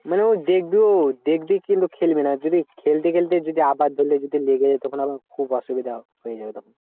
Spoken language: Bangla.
মানে ওই দেখবি কিন্তু খেলবি না। যদি খেলতে খেলতে যদি আবার ধরলে যদি লেগে যায়, তখন আবার খুব অসুবিধা হয়ে যাবে তখন।